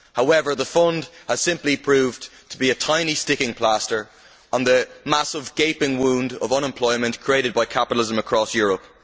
However, the fund has simply proved to be a tiny sticking plaster on the massive gaping wound of unemployment created by capitalism across Europe.